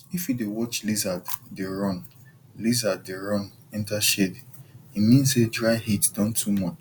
if you dey watch lizard dey run lizard dey run enter shade e mean say dry heat don too much